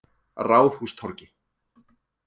Ráðhústorgi